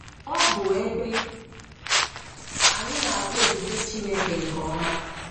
Ọ bụ ebe anyị na-ahụ ebube Chineke nke ọma.